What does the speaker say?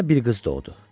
Nina bir qız doğdu.